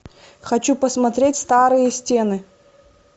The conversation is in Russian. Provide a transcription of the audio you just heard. хочу посмотреть старые стены